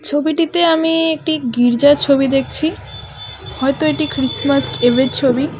ছবিটিতে আমি একটি গির্জার ছবি দেখছি হয়তো এটি খ্রিসমাস্ট ইভের ছবি .